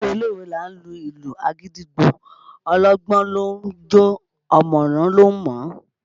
Lówe lówe là á lu ìlù àgídìgbo, ọlọ́gbọ́n ló ń jó o ọ̀mọ̀ràn ló ń mọ̀ ọ́